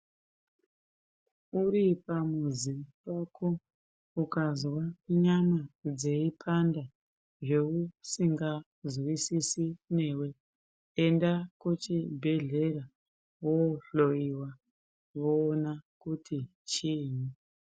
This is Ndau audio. Uri pamuzi pako ukanzwa nyama dzeipanda zveusingazwisisi newe unoenda kuchibhedhlera wohloiwa voona kuti chinyi.